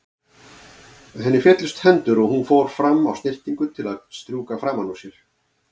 Henni féllust hendur og hún fór fram á snyrtingu til að strjúka framan úr sér.